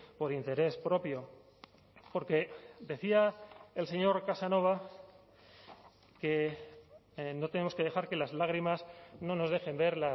por interés propio porque decía el señor casanova que no tenemos que dejar que las lágrimas no nos dejen ver